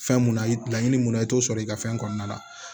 Fɛn mun na i laɲini mun na i t'o sɔrɔ i ka fɛn kɔnɔna la